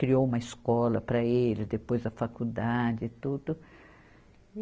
Criou uma escola para ele, depois a faculdade e tudo.